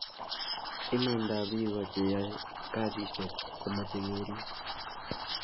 imaandab biko che yae kasisheck ko meche kerip